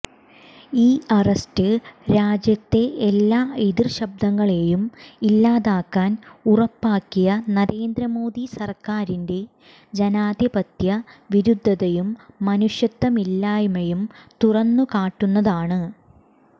ഈ അറസ്റ്റ് രാജ്യത്തെ എല്ലാ എതിർശബ്ദങ്ങളെയും ഇല്ലാതാക്കാൻ ഉറപ്പാക്കിയ നരേന്ദ്ര മോദി സർക്കാരിന്റെ ജനാധിപത്യ വിരുദ്ധതയും മനുഷ്യത്വമില്ലായ്മയും തുറന്നു കാട്ടുന്നതാണ്